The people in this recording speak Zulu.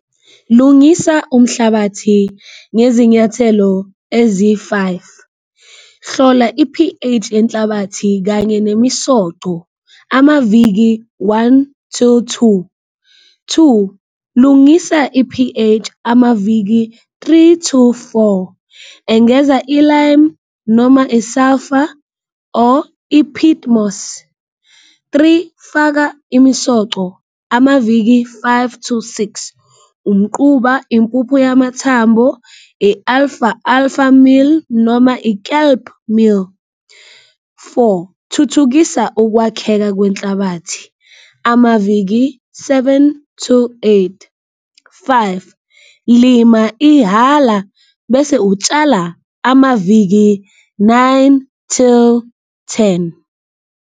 Lungisa umhlabathi ngezinyathelo eziyi-five, hlola i-P_H enhlabathi kanye nemisoco amaviki one to two. Two lungisa i-P_H amaviki three to four, engeza i-lime noma i-sulphur or iphidimosi. Three, faka imisoco amaviki five to six, umquba, impupho yamathambo, i-alfa, alfa mill noma i-kelp mill. Four thuthukisa ukwakheka kwenhlabathi amaviki seven to eight. Five, lima ihhala bese utshala amaviki nine till ten.